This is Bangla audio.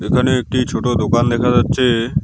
এখানে একটি ছোট দোকান দেখা যাচ্ছে।